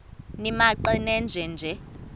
nimaqe nenje nje